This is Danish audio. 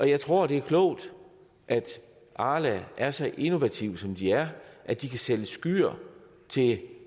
jeg tror det er klogt at arla er så innovative som de er at de kan sælge skyr til